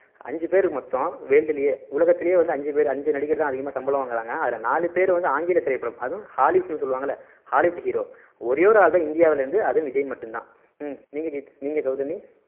அஞ்சு பேரு மொத்தம் world லயே உலகத்துலயே அஞ்சு பேரு அஞ்சு நடிகர் தான் அதிகமா சம்பளம் வாங்குறாங்க அதுல நாலு பேரு வந்து ஆங்கில திரைப்படம் அதும் hollywood ன்னு சொல்லுவாங்கல்ல hollywood hero ஒரே ஒரு ஆள் தான் இந்தியாவுல இருந்து அது விஜய் மட்டும் தான் உம் நீங்க் நீங்க கௌதமி